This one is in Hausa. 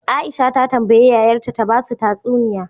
Aisha ta tambayi yayar ta ta basu tatsuniya